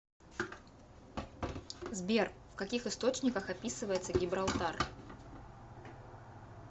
сбер в каких источниках описывается гибралтар